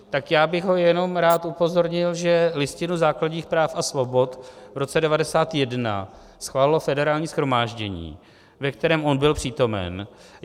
Tak já bych ho jenom rád upozornil, že Listinu základních práv a svobod v roce 1991 schválilo Federální shromáždění, ve kterém on byl přítomen.